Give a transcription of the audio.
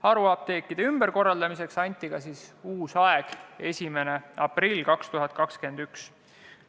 Haruapteekide ümberkorraldamiseks anti ka uus tähtaeg, 1. aprill 2021.